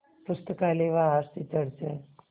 पुस्तकालय व R C church हैं